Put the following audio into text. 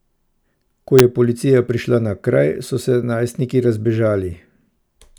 Ko je policija prišla na kraj, so se najstniki razbežali.